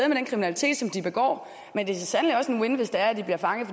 den kriminalitet som de begår men det er så sandelig også en win situation hvis det er at de bliver fanget